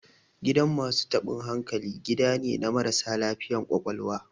Gidan masu taɓin hankali, gida ne na marasa lafiyar ƙwaƙwalwa.